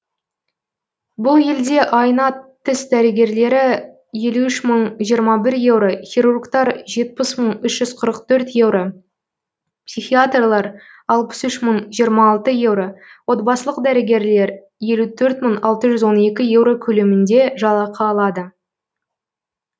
бұл елде айына тіс дәрігерлері елу үш мың жиырма бір еуро хирургтар жетпіс мың үш жүз қырық төрт еуро психиатрлар алпыс үш мың жиырма алты еуро отбасылық дәрігерлер елу төрт мың алты жүз он екі еуро көлемінде жалақы алады